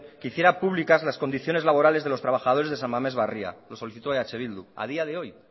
que hiciera públicas las condiciones laborales de los trabajadores de san mamés barria lo solicitó eh bildu a día de hoy